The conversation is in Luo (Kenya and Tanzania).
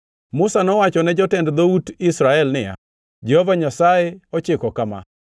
Musa nowacho ne jotend dhout Israel niya, “Jehova Nyasaye ochiko kama: